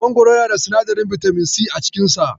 Mangoro yana da sinadarin bitamin si a cikin sa.